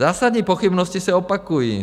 Zásadní pochybnosti se opakují.